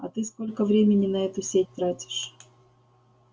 а ты сколько времени на эту сеть тратишь